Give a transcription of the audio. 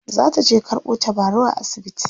zataje karɓo tabarau a asibiti